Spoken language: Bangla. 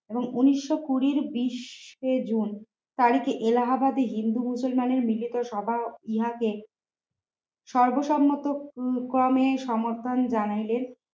উনিশ শো কুড়ির বিশ জুন তারিখে এলাহাবাদে হিন্দু মুসলমানের নিজেদের সভা হওয়াতে সর্বসম্মতক্রমে সমর্থন জানালেন